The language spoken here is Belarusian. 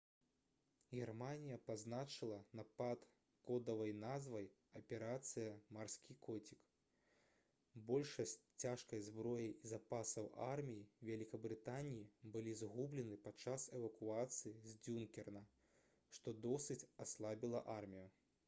германія пазначыла напад кодавай назвай «аперацыя «марскі коцік»». большасць цяжкай зброі і запасаў арміі вялікабрытаніі былі згублены падчас эвакуацыі з дзюнкерка што досыць аслабіла армію